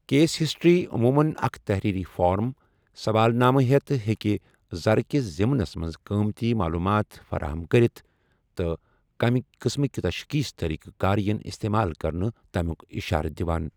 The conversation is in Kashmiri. کیس ہسٹری عموٗمَن اکھ تحریری فارم ، سوال نامَہٕ ہیتھ ہٮ۪کہِ زرٕ كِس ضِمنس منز قٲمتی معلوٗمات فراہم کٔرِتھ، تہٕ کَمہِ قسٕمٕکہِ تشخیٖصی طٔریقہٕ کار یِن استعمال کرٕنہٕ تمِیوٗك اِشارٕ دِوان